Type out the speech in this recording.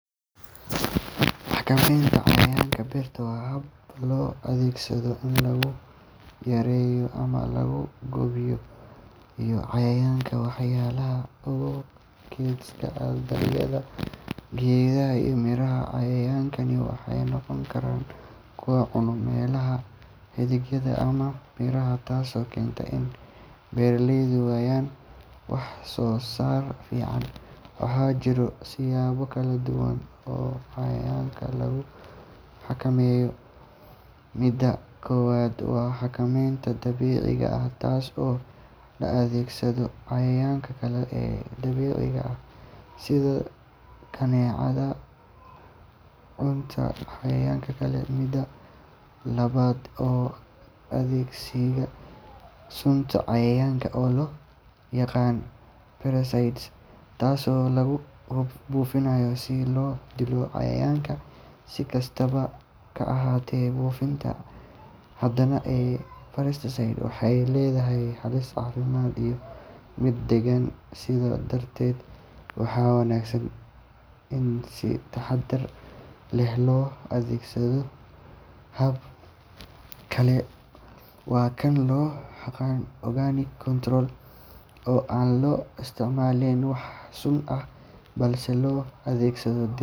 Xakamaynta cayayaanka beerta waa hab loo adeegsado in lagu yareeyo ama lagu baabi’iyo cayayaanka waxyeellada u geysta dalagyada, geedaha iyo miraha. Cayayaankani waxay noqon karaan kuwo cuna caleemaha, xididdada ama miraha, taasoo keenta in beeraleydu waayaan wax-soo-saar fiican. Waxaa jira siyaabo kala duwan oo cayayaanka lagu xakameeyo. Midda koowaad waa xakamaynta dabiiciga ah, taas oo la adeegsado cayayaanka kale ee dabiiciga ah sida kaneecada cunta cayayaanka kale. Midda labaad waa adeegsiga sunta cayayaanka, oo loo yaqaan pesticides, taasoo lagu buufiyo si loo dilo cayayaanka. Si kastaba ha ahaatee, buufinta badan ee pesticides waxay leedahay halis caafimaad iyo mid deegaan, sidaa darteed waxaa wanaagsan in si taxaddar leh loo adeegsado. Hab kale waa kan loo yaqaan organic control, oo aan la isticmaalin wax sun ah balse la adeegsado dhir